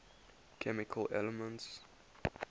chemical elements